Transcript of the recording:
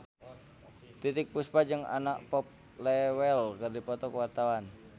Titiek Puspa jeung Anna Popplewell keur dipoto ku wartawan